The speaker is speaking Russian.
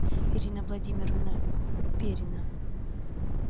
ирина владимировна перина